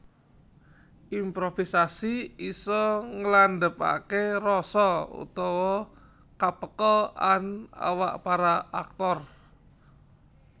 Improvisasi isa nglandhepaké rasa utawa ka peka an awak para aktor